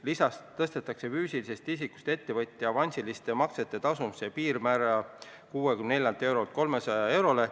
Lisaks tõstetakse füüsilisest isikust ettevõtja avansiliste maksete tasumise piirmäära 64 eurolt 300 eurole.